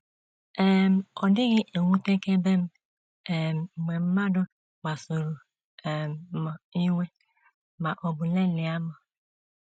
“ um Ọ dịghị ewutekebe m um mgbe mmadụ kpasuru um m iwe ma ọ bụ lelịa m.